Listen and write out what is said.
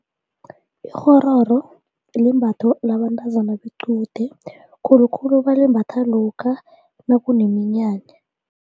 Ikghororo limbatho yabantazana bequde khulukhulu balimbatha lokha nakuneminyanya.